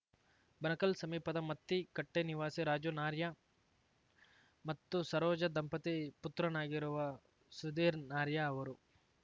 ಬಣಕಲ್‌ ಸಮೀಪದ ಮತ್ತಿಕಟ್ಟೆನಿವಾಸಿ ರಾಜು ನಾರ್ಯಾ ಮತ್ತು ಸರೋಜ ದಂಪತಿ ಪುತ್ರನಾಗಿರುವ ಸುಧೀರ್‌ ನಾರ್ಯಾ ಅವರು